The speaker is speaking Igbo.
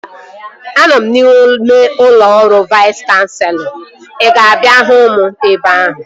Anọ m n'ime ụlọ ọrụ Vais Kanselọ. Ị ga-abịa hụ m ebe ahụ?